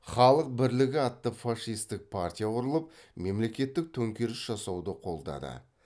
халық бірлігі атты фашистік партия құрылып мемлекеттік төңкеріс жасауды қолдады